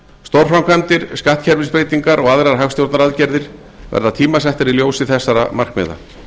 stórframkvæmdir skattkerfisbreytingar og aðrar hagstjórnaraðgerðir verða tímasettar í ljósi þessara markmiða